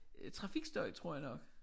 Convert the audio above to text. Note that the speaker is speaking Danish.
Øh trafikstøj tror jeg nok